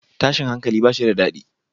Tashin hankali bashi da dadi